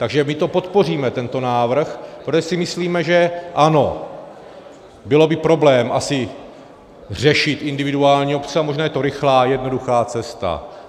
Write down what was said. Takže my to podpoříme, tento návrh, protože si myslíme, že ano, byl by problém asi řešit individuální obce, a možná je to rychlá, jednoduchá cesta.